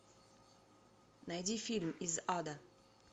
найди фильм из ада